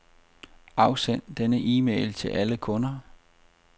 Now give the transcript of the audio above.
Afsend denne e-mail til alle kunder.